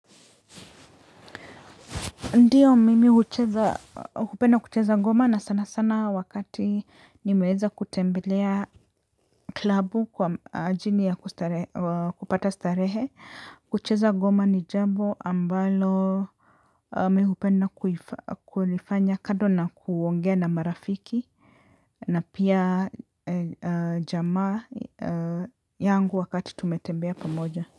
Ndiyo mimi hupedna kucheza ngoma na sana sana wakati nimeweza kutembelea klabu kwa ajili ya kupata starehe. Kucheza ngoma ni jambo ambalo mimi hupenda kulifanya kando na kuongea na marafiki. Na pia jamaa yangu wakati tumetembea pamoja.